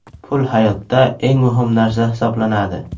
Pul hayotda eng muhim narsa hisoblanadi.